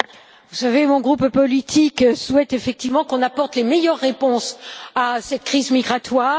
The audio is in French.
Vous savez, mon groupe politique souhaite effectivement que nous apportions les meilleures réponses à cette crise migratoire.